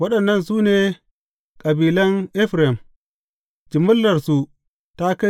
Waɗannan su ne kabilan Efraim; jimillarsu ta kai